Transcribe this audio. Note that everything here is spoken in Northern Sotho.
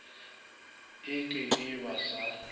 e ke e ba sa